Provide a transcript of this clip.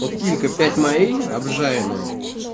вот килька пяти морей обжаренная